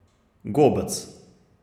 Gobec!